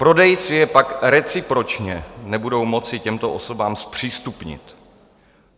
Prodejci je pak recipročně nebudou moci těmto osobám zpřístupnit.